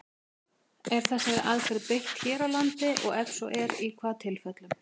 Er þessari aðferð beitt hér á landi, og ef svo er, í hvaða tilfellum?